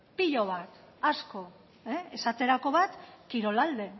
pilo bat asko esaterako bat kirolalde